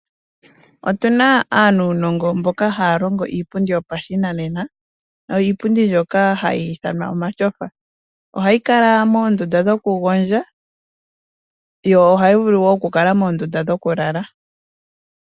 Otuna aanuunongo mboka haa longo iipundi yopashinanena niipundi mbika ohayi ithanwa omatsofa ,iipundi mbika ohayi kala moondunda dhoku gondja yo ohayi vulu wo okukala moondunda dhoku lala.